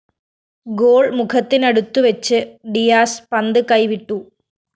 goal മുഖത്തിനടുത്തുവച്ച് Diaz പന്ത് കൈവിട്ടു